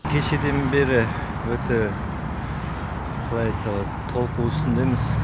кешеден бері өте қалай айтсақ енді толқу үстіндеміз